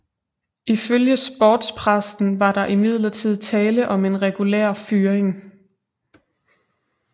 Ifølge sportspressen var der imidlertid tale om en regulær fyring